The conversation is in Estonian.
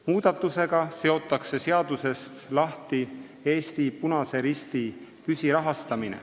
Muudatusega seotakse seadusest lahti Eesti Punase Risti püsirahastamine.